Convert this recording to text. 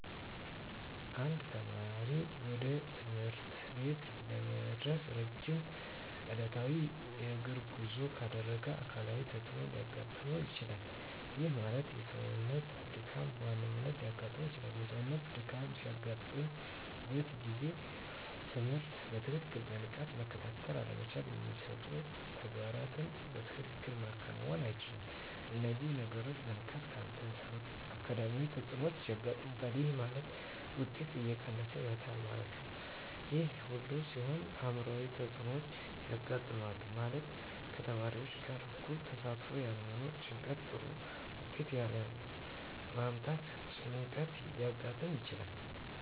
አንድ ተማሪ ወደ ትምህርት ቤት ለመድረስ ረጅም ዕለታዊ የእግር ጉዞ ካደረገ አካላዊ ተፅዕኖ ሊያጋጥመው ይችላል። ይህ ማለት የሰውነት ድካም በዋናነት ሊያጋጥም ይችላል። የሰውነት ድካም በሚያጋጥምበት ጊዜ ትምህርትን በትክክልና በንቃት መከታተል አለመቻል የሚሰጡ ተግባራትን በትክክል ማከናወን አይቻልም። እነዚህ ነገሮች በንቃት ካልተሰሩ አካዳሚያዊ ተፅዕኖዎች ያጋጥማል። ይህ ማለት ውጤት እየቀነሰ ይመጣል ማለት ነው። ይህ ሁሉ ሲሆን አዕምሯዊ ተፅዕኖዎች ያጋጥማሉ። ማለትም ከተማሪዎች ጋር እኩል ተሳትፎ ያለመኖር ጭንቀት ጥሩ ውጤት ያለ ማምጣት ጭንቀት ሊያጋጥም ይችላል።